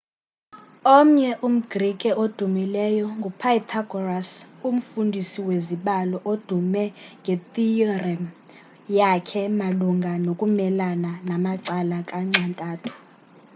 omnye umgrike odumileyo ngu-pythagoras umfundisi wezibalo odume ngethiyorem yakhe malunga nokumelana namacala kanxa-ntathu